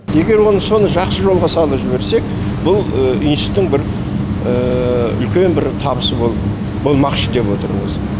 егер оны соны жақсы жолға салып жіберсек бұл институттың бір үлкен бір табысы болмақшы деп отырмыз